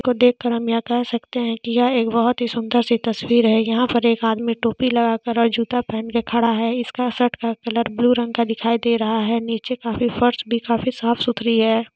इसको देख कर हम ये कह सकते है की यह एक बहुत ही सुंदर सी तस्वीर है यहाँ पर एक आदमी टोपी लगा कर और जूता पहन के खड़ा है इसका शर्ट का कलर ब्लू रंग का दिखाई दे रहा है नीचे काफी फर्श भी काफी साफ सुथरी है।